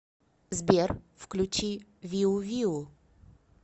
сбер включи виу виу